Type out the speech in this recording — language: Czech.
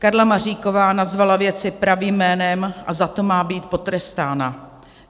Karla Maříková nazvala věci pravým jménem a za to má být potrestána.